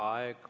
Aeg!